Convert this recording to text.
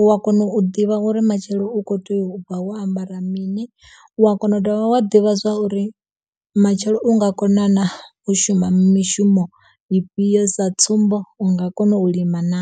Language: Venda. u a kona u ḓivha uri matshelo u kho tea u bva wo ambara mini, u a kona u dovha wa ḓivha zwa uri matshelo u nga kona na, u shuma mishumo ifhio. Sa tsumbo, u nga kona u lima na?